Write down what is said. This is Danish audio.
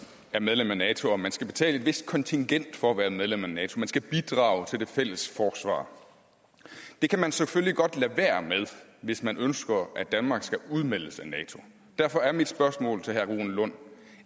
er medlem af nato og man skal betale et vist kontingent for at være medlem af nato man skal bidrage til det fælles forsvar det kan man selvfølgelig godt lade være med hvis man ønsker at danmark skal udmeldes af nato og derfor er mit spørgsmål til herre rune lund